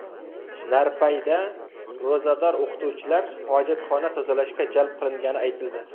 Narpayda ro‘zador o‘qituvchilar hojatxona tozalashga jalb qilingani aytildi.